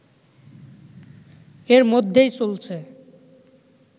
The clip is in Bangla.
এর মধ্যেই চলছে